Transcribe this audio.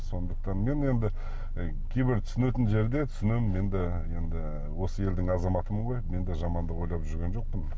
сондықтан мен енді кейбір түсінетін жерде түсінемін енді енді осы елдің азаматымын ғой мен де жамандық ойлап жүрген жоқпын